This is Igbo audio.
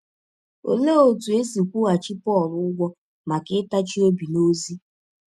Ọlee ọtụ e si kwụghachi Pọl ụgwọ maka ịtachi ọbi n’ọzi?